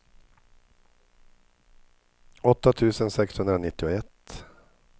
åtta tusen sexhundranittioett